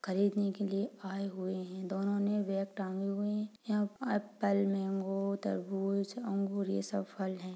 खरीदने ने के लिया आये हुए है दोनों ने बेग टांगे हुए है यहाँ पर एप्पल मैंगो तरबूज अंगूर ये सब फल है ।